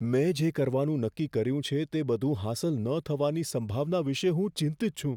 મેં જે કરવાનું નક્કી કર્યું છે તે બધું હાંસલ ન થવાની સંભાવના વિશે હું ચિંતિત છું.